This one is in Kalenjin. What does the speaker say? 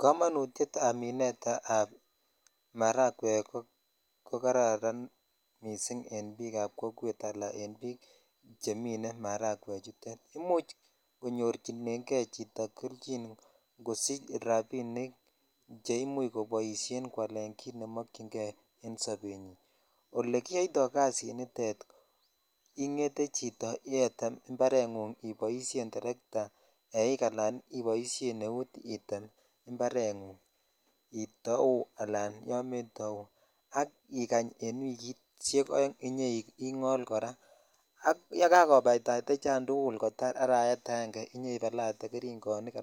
Kamanutyet ab maragwek ko kararan missing eb kokwet ala en bik chemine maragwek chuton imuch konyorchinen kei chito kelchin kosich rabinik che imuch koboishen kwalen kit nemokyin kei ole kiyoito kasini chito iboishen teretaa eik ala eut imparengung itau ala kometau ak ikany kityok betushek oeng inyoingol kora ak yekakobaitai choton tukul kotar arawet aenge inyoibalate gerugonik